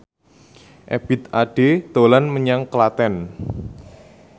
Ebith Ade dolan menyang Klaten